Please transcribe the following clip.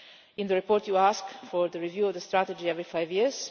In the report you ask for a review of the strategy every five years.